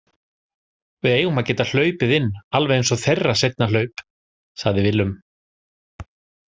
Við eigum að geta hlaupið inn alveg eins og þeirra seinna hlaup, sagði Willum.